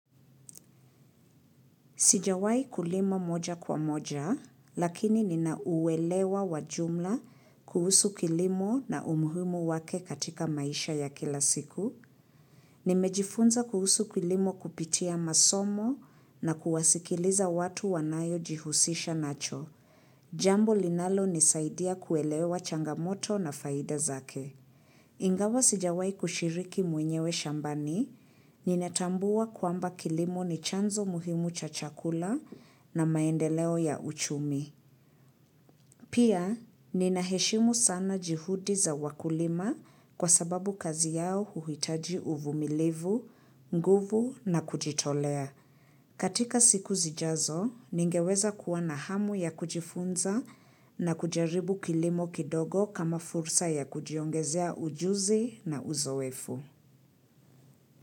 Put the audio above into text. Sijawai kulima moja kwa moja, lakini ninauelewa wa jumla kuhusu kilimo na umuhimu wake katika maisha ya kila siku. Nimejifunza kuhusu kilimo kupitia masomo na kuwasikiliza watu wanayo jihusisha nacho. Jambo linalonisaidia kuelewa changamoto na faida zake. Ingawa sijawai kushiriki mwenyewe shambani, ninatambua kwamba kilimo ni chanzo muhimu cha chakula na maendeleo ya uchumi. Pia, ninaheshimu sana juhudi za wakulima kwa sababu kazi yao huhitaji uvumilivu, nguvu na kujitolea. Katika siku zijazo, ningeweza kuwa na hamu ya kujifunza na kujaribu kilimo kidogo kama fursa ya kujiongezea ujuzi na uzoefu.